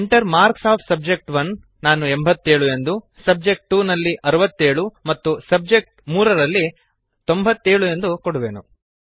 Enter marks of subject one ನಾನು 87 subject two ರಲ್ಲಿ 67 ಎಂದು ಮತ್ತು ಸಬ್ಜೆಕ್ಟ್3 ರಲ್ಲಿ 97 ಎಂದು ಎಂದು ಕೊಡುವೆನು